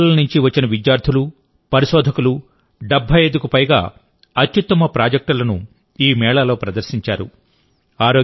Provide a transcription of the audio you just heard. దేశం నలుమూలల నుంచి వచ్చిన విద్యార్థులు పరిశోధకులు 75కు పైగా అత్యుత్తమ ప్రాజెక్టులను ఈ మేళాలో ప్రదర్శించారు